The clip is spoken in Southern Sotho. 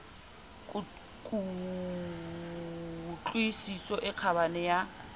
ku tlwisiso e kgabane ya